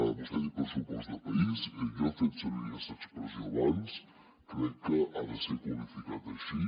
vostè ha dit pressupost de país jo he fet servir aquesta expressió abans crec que ha de ser qualificat així